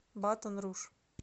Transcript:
батон руж